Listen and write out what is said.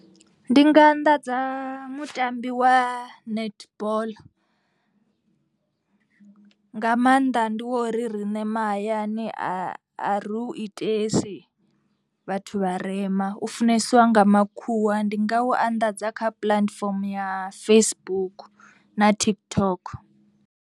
Ndi nga anḓadza mutambi wa netball. Mga maanḓa ndi wa uri riṋe mahayani a a ri hu itesa dzi vhathu vharema. U funesiwa nga makhuwa ndi nga u anḓadza kha platform ya Facebook na TikTok.